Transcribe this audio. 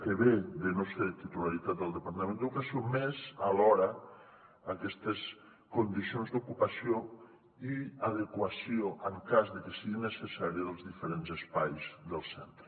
que ve de no ser de titularitat del departament d’educació més alhora aquestes condicions d’ocupació i adequació en cas de que sigui necessari dels diferents espais del centre